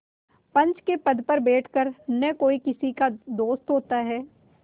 पंच के पद पर बैठ कर न कोई किसी का दोस्त होता है